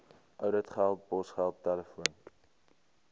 ouditgelde posgeld telefoon